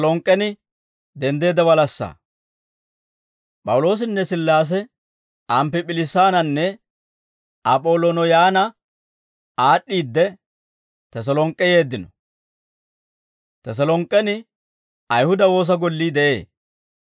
P'awuloosinne Sillaase, Amppip'oliisaannanne Ap'olooniyanna aad'd'iide, Teselonk'k'e yeeddino; Teselonk'k'en Ayihuda woosa gollii de'ee.